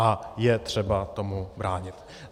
A je třeba tomu bránit.